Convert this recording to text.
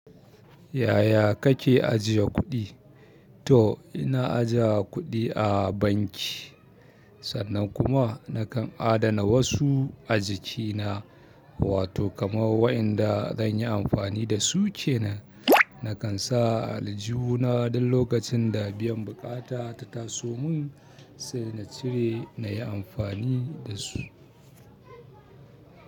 Yaya kake ajiye kuɗi? Toh, ina ajiye kuɗi a banki, sannan kuma nakan adana wasu a jikina, wato kamar wa'yanda zanyi amfani dasu kenan. Nakan sa a aljihuna duk lokacin da biyan buƙata ta taso mun se in cire inyi amfani dasu.